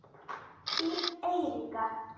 Þín Eiríka.